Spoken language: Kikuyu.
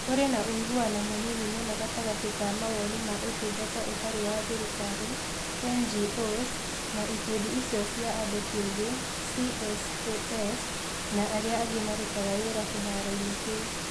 Kũrĩ na ũiguano mũnini mũno gatagatĩ ka Mawoni ma Ũtungata Ũtarĩ wa Thirikari (NGOs) na Ikundi icio cia andũ kĩũmbe (CSOs) na arĩa angĩ marutaga wĩra kĩharoinĩ kĩu